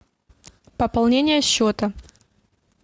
пополнение счета